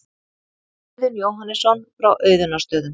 Auðunn Jóhannesson frá Auðunnarstöðum.